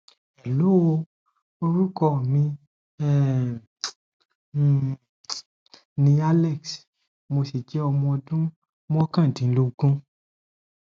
hello orúkọ mi um um ni alex mo sì jẹ ọmọ ọdún mọkàndínlógún